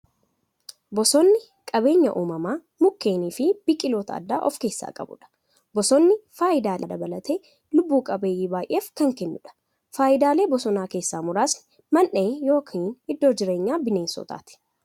Bosonni qabeenya uumamaa mukkeewwaniifi biqiltoota adda addaa of keessaa qabudha. Bosonni faayidaalee adda addaa dhala namaa dabalatee lubbuu qabeeyyii baay'eef kan kennuudha. Faayidaalee bosonaa keessaa muraasni; Mandhee yookin iddoo jireenya bineensotaati.